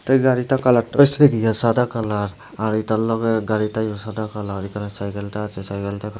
এই গাড়িটা কালারটা সাদা কালার আর এটার লগে গাড়িটা সাদা কালার এখানে সাইকেল টা আছে সাইকেল টা --